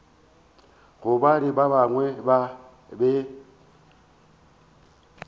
gobane ba bangwe ba be